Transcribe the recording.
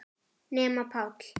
Nema Páll.